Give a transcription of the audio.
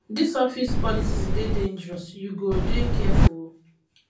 dis office politics dey dangerous you go dey careful o